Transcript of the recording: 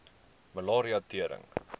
malaria tering